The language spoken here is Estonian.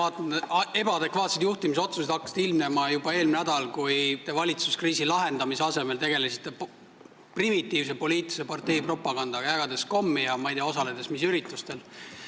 Teie ebaadekvaatsed juhtimisotsused hakkasid ilmnema juba eelmine nädal, kui te valitsuskriisi lahendamise asemel tegelesite primitiivse parteipropagandaga, jagades kommi ja osaledes ei tea mis üritustel.